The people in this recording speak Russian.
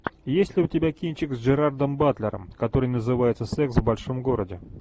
есть ли у тебя кинчик с джерардом батлером который называется секс в большом городе